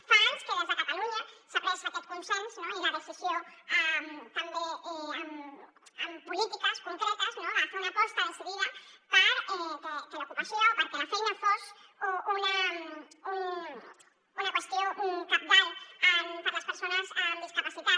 fa anys que des de catalunya s’ha pres aquest consens i la decisió també amb polítiques concretes no de fer una aposta decidida perquè l’ocupació perquè la feina fos una qüestió cabdal per a les persones amb discapacitat